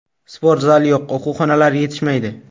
Sportzal yo‘q, o‘quv xonalari yetishmaydi.